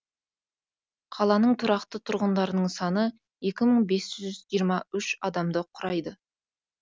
қаланың тұрақты тұрғындарының саны екі мың бес жүз үш адамды құрайды